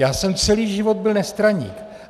Já jsem celý život byl nestraník.